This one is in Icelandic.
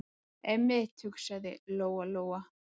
Einmitt, hugsaði Lóa- Lóa.